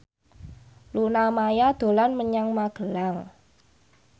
Luna Maya dolan menyang Magelang